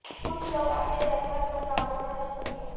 کچھ لوگ اپنے جذبات پر قابو نہ رکھ سکے